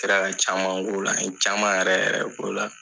Kɛra ka caman k'o la. An ye caman yɛrɛ yɛrɛ de k'o la.